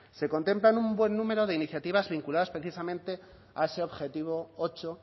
se contempla un buen número de iniciativas vinculadas precisamente a ese objetivo ocho